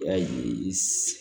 Yaye i s